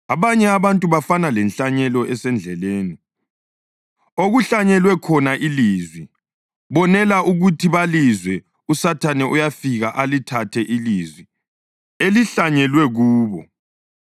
Abanye abantu bafana lenhlanyelo esendleleni okuhlanyelwe khona ilizwi. Bonela ukuthi balizwe uSathane uyafika alithathe ilizwi elihlanyelwe kubo.